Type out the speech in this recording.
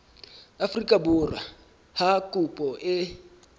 afrika borwa ha kopo e